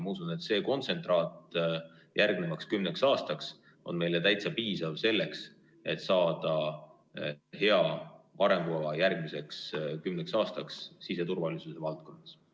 Ma usun, et see kontsentraat on meile täitsa piisav selleks, et saada hea arengukava järgmiseks kümneks aastaks siseturvalisuse valdkonnas.